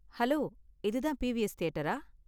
Hello, இதான் PVS தியேட்டரா?